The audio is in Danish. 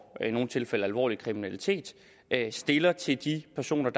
i nogle tilfælde alvorlig kriminalitet stiller til de personer